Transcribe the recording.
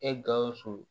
E gawusu